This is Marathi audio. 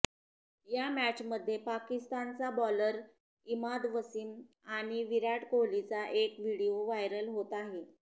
या मॅचमध्ये पाकिस्तानचा बॉलर इमाद वसीम आणि विराट कोहलीचा एक व्हिडिओ व्हायरल होत आहे